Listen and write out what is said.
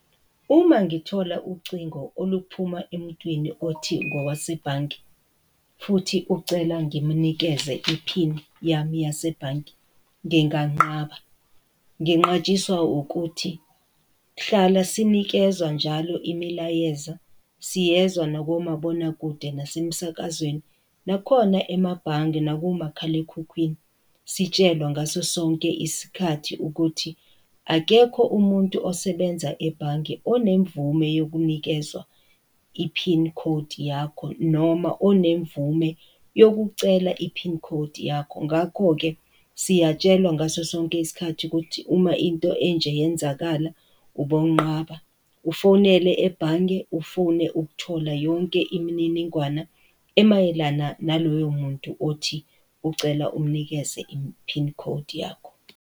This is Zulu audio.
Uma ngithola ucingo oluphuma emuntwini othi ngowase ebhange, futhi ucela ngimnikeze i-pin yami yasebhange, nginganqaba. Nginqatshiswa ukuthi hlala sinikezwa njalo imilayeza, siyezwa nakomabonakude nasemsakazweni, nakhona emabhange, nakumakhalekhukhwini, sitshelwa ngaso sonke isikhathi ukuthi akekho umuntu osebenza ebhange onemvume yokunikezwa i-pin code yakho, noma onemvume yokucela i-pin code yakho. Ngakho-ke, siyatshelwa ngaso sonke isikhathi ukuthi uma into enje iyenzakala ubo nqaba, ufonele ebhange, ufune ukuthola yonke imininingwana emayelana naloyo muntu othi ucela umnikeze i-pin code yakho.